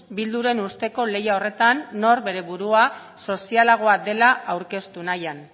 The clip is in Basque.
bilduren usteko lehia horretan nor bere burua sozialagoa dela aurkeztu nahian